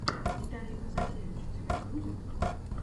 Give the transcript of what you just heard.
виталий казакевич у тебя будет